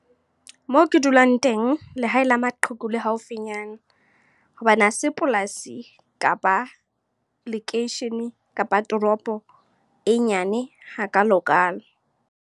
Moo ke dulang teng, lehae la maqheku le haufinyana. Hobane hase polasi, kapa lekeishene, kapa toropo e nyane hakalokalo.